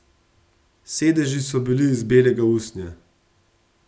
Sedeži so bili iz belega usnja.